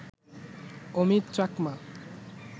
Amit Chakma